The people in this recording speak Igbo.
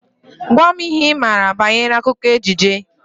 Gwa m ihe Ị maara banyere akụkọ ejije!